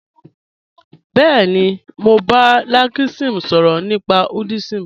Bẹẹ̀ni, mọ̀ n bá Lakshmi sọrọ̀ nípa Hinduism